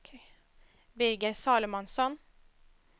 Birger Salomonsson